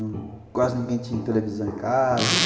Quase ninguém tinha televisão em casa.